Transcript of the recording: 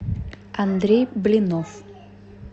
андрей блинов